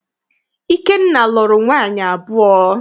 Ikenna lụrụ nwaanyị abụọ.